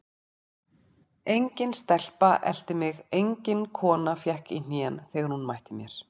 Engin stelpa elti mig, engin kona fékk í hnén þegar hún mætti mér.